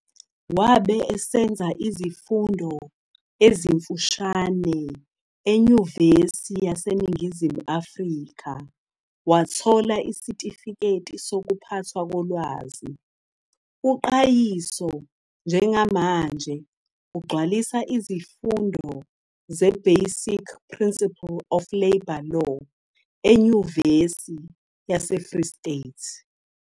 Wabe esenza izifundo ezimfishane eNyuvesi yaseNingizimu Afrika wathola isitifiketi sokuphathwa kolwazi. UQayiso njengamanje ugcwalisa izifundo ze-Basic Principle of Labour Law eNyuvesi yaseFree State.